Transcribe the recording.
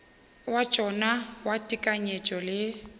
wa tšona wa tekanyetšo le